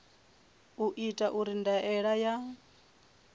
u itwa uri ndaela ya